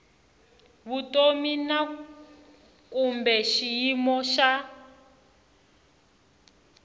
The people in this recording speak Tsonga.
vutomi na kumbe xiyimo xa